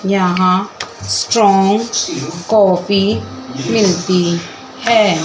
यहां strong copy मिलती है।